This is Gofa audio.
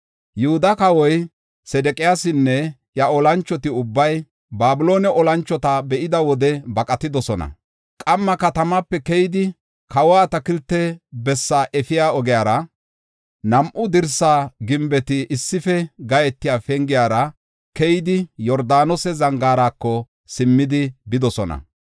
Yihuda kawoy Sedeqiyaasinne iya olanchoti ubbay Babiloone olanchota be7ida wode baqatidosona. Qamma katamaape keyidi, kawa atakilte bessaa efiya ogiyara, nam7u dirsa gimbeta issife gathiya pengiyara keyidi Yordaanose Zangaarako simmidi bidosona.